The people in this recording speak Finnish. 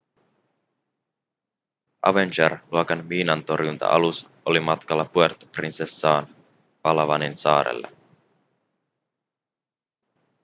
avenger-luokan miinantorjunta-alus oli matkalla puerto princesaan palawanin saarelle